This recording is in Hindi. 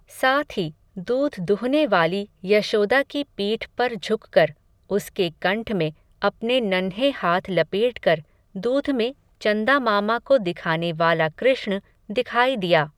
साथ ही, दूध दुहनेवाली, यशोदा की पीठ पर झुककर, उसके कंठ में, अपने नन्हें हाथ लपेटकर, दूध में, चन्दामामा को दिखानेवाला कृष्ण, दिखाई दिया